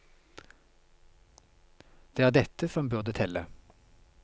Det er dette som burde telle.